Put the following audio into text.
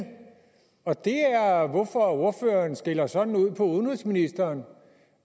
og det er hvorfor ordføreren skælder sådan ud på udenrigsministeren